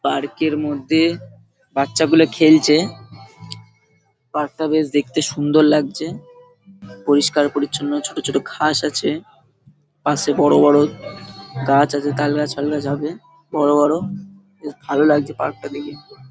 Park -এর মধ্যে বাচ্চাগুলো খেলছে। পার্ক -টা বেশ দেখতে সুন্দর লাগছে। পরিষ্কার পরিচ্ছন্ন ছোট ছোট ঘাস আছে। পাশে বড় বড় গাছ আছে। তালগাছ ফালগাছ হবে । বড় বড় খুব ভালো লাগছে পার্কটা দেখে।